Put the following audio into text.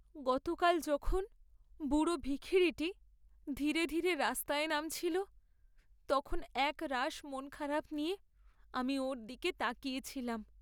গতকাল যখন বুড়ো ভিখিরিটি ধীরে ধীরে রাস্তায় নামছিল তখন একরাশ মনখারাপ নিয়ে আমি ওর দিকে তাকিয়ে ছিলাম।